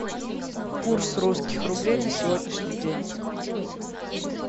курс русских рублей на сегодняшний день